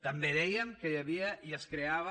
també dèiem que hi havia i es creava